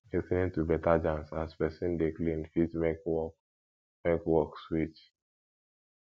lis ten ing to better jams as person dey clean fit make work make work sweet